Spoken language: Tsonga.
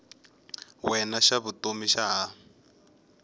wena xa vutomi xa ha